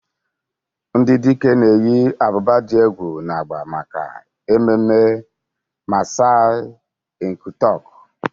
Ndị dike na-eyi ábụ́bà dị egwu na agba maka ememme Maasai Enkutuk.